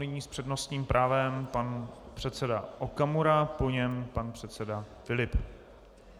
Nyní s přednostním právem pan předseda Okamura, po něm pan předseda Filip.